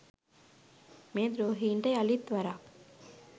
මේ ද්‍රෝහීන්ට යළිත් වරක්